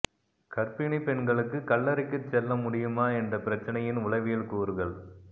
கர்ப்பிணிப் பெண்களுக்கு கல்லறைக்குச் செல்ல முடியுமா என்ற பிரச்சினையின் உளவியல் கூறுகள்